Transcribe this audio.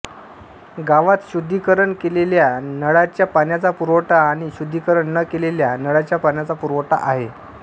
गावात शुद्धिकरण केलेल्या नळाच्या पाण्याचा पुरवठा आणि शुद्धिकरण न केलेल्या नळाच्या पाण्याचा पुरवठा आहे